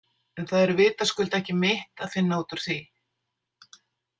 En það er vitaskuld ekki mitt að finna út úr því.